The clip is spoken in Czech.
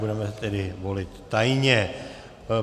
Budeme tedy volit tajně.